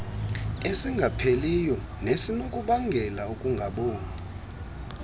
esingapheliyo nesinokubangela ukungaboni